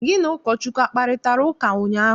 Gị na Ụkọchukwu akparịtara ụka ụnyaahụ?